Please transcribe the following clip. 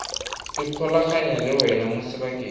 ikgolaganya le wena mo sebakeng